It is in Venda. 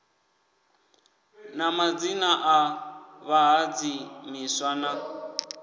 na madzina a vhahadzimiswa na